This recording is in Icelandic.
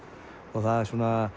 það er